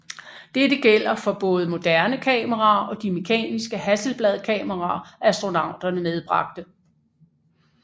Dette gælder for både moderne kameraer og de mekaniske Hasselbladkameraer astronauterne medbragte